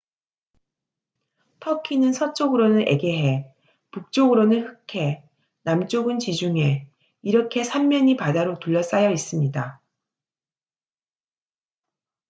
터키는 서쪽으로는 에게해 북쪽으로는 흑해 남쪽은 지중해 이렇게 3면이 바다로 둘러싸여 있습니다